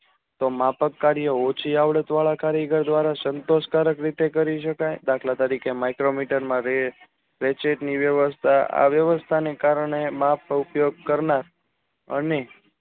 માપક કાર્ય ઓછી આવડત વાળા સંકાશ રીતે જારી શકાય આ વ્યવસ્થા ને કારણે મેપ ઉપયોગ કરનાર અને